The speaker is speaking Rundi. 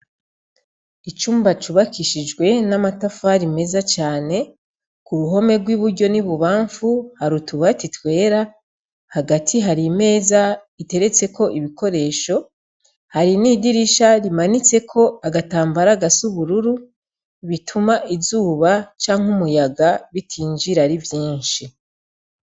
Icumba cubakishijwe namatafari meza cane kuruhome rwiburyo nibubamfu hari utubati twera hagati hari imeza iteretseko ibikoresho hari nidirisha rimanitseko agatambara gasubururu bituma izuba canke umuyaga bitinjira ari vyinshi